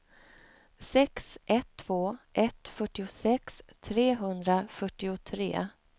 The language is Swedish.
sex ett två ett fyrtiosex trehundrafyrtiotre